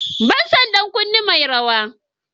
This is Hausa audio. Banason ɗan kunne mai rawa.